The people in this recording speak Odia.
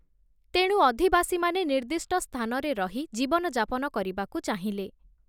ତେଣୁ ଅଧିବାସୀମାନେ ନିର୍ଦ୍ଦିଷ୍ଟ ସ୍ଥାନରେ ରହି ଜୀବନଯାପନ କରିବାକୁ ଚାହିଁଲେ ।